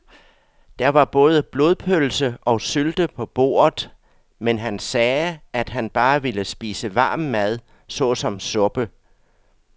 Der var både blodpølse og sylte på bordet, men han sagde, at han bare ville spise varm mad såsom suppe.